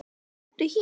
Smelltu hér.